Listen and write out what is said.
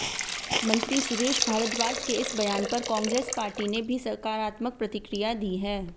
मंत्री सुरेश भारद्वाज के इस बयान पर कांग्रेस पार्टी ने भी सकारात्मक प्रतिक्रिया दी है